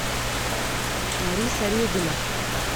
лариса редина